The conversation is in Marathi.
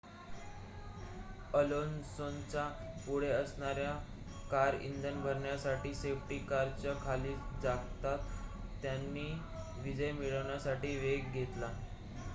अलोन्सोच्या पुढे असणाऱ्या कार इंधन भरण्यासाठी सेफ्टी कारच्या खाली जाताच त्याने विजय मिळवण्यासाठी वेग घेतला